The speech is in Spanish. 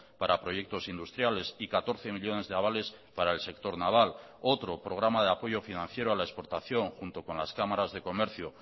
para proyectos industriales y catorce millónes de avales para el sector naval otro programa de apoyo financiero a la exportación junto con las cámaras de comercio